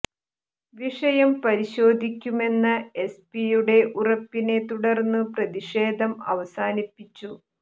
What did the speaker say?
വിഷയം പരിശോധിക്കുമെന്ന എസ് പിയുടെ ഉറപ്പിനെ തുടർന്നു പ്രതിഷേധം അവസാനിപ്പിച്ചു